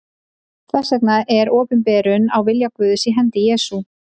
Þess vegna er opinberunin á vilja Guðs í hendi Jesú.